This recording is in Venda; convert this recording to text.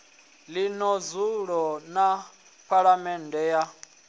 ḽino dzulo ḽa phaḽamennde ya